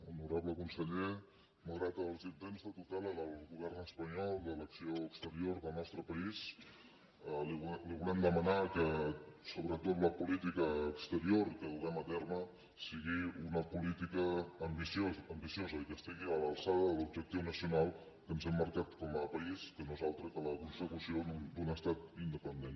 honorable conseller malgrat els intents de tutela del govern espanyol de l’acció exterior del nostre país li volem demanar que sobretot la política exterior que duguem a terme sigui una política ambiciosa i que estigui a l’alçada de l’objectiu nacional que ens hem marcat com a país que no és altre que la consecució d’un estat independent